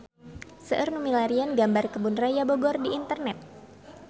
Seueur nu milarian gambar Kebun Raya Bogor di internet